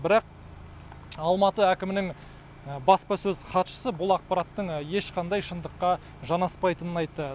бірақ алматы әкімінің баспасөз хатшысы бұл ақпараттың ешқандай шындыққа жанаспайтынын айтты